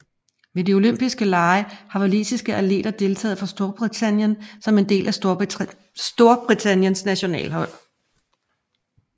Ved de olympiske lege har walisiske atleter deltaget for Storbritannien som en del af Storbritanniens nationalhold